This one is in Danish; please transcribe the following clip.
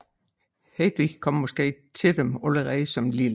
Hedvig kom måske til dem allerede som lille